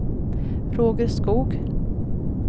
Roger Skog